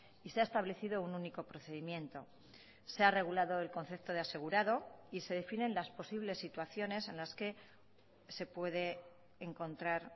y se ha establecido un único procedimiento se ha regulado el concepto de asegurado y se definen las posibles situaciones en las que se puede encontrar